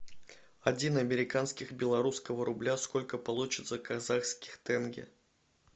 один американских белорусского рубля сколько получится казахских тенге